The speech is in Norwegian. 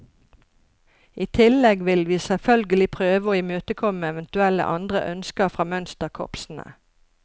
I tillegg vil vi selvfølgelig prøve å imøtekomme eventuelle andre ønsker fra mønsterkorpsene.